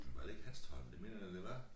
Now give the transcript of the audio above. Var det ikke Hanstholm det mener jeg da det var